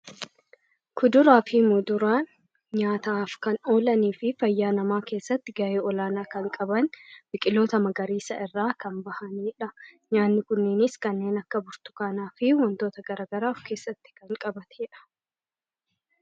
kuduraa fi muduraan nyaataaf kan oolanii fi fayyaa namaa keessatti gaa'ee olaanaa kan qaban biqiloota magariisaa irraa kan bahaniidha. nyaanni kunniinis kanneen akka burtukaanaa fi wantoota garagaraa of keessatti kan qabateedha.